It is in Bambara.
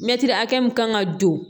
Mɛtiri hakɛ min kan ka don